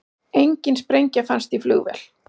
Engin sprengja fannst í flugvél